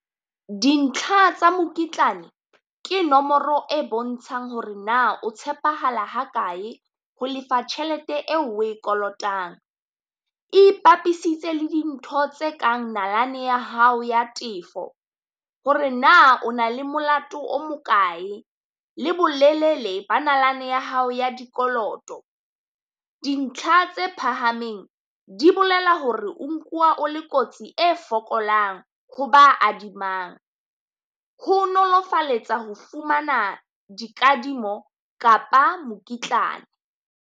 Dintlha tsa mokitlane ke nomoro e bontshang hore na o tshepahala ha kae ho lefa tjhelete eo o e kolotang. E ipapisitse le dintho tse kang nalane ya hao ya tefo, hore na o na le molato o mokae, le bolelele ba nalane ya hao ya dikoloto. Dintlha tse phahameng di bolela hore o nkuwa o le kotsi e fokolang ho ba adimang, ho nolofaletsa ho fumana dikadimo kapa mokitlana.